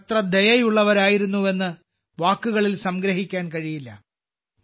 അവർ എത്ര ദയയുള്ളവരായിരുന്നുവെന്ന് വാക്കുകളിൽ സംഗ്രഹിക്കാൻ കഴിയില്ല